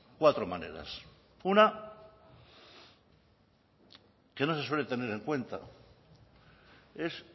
cuatro maneras una que no se suele tener en cuenta es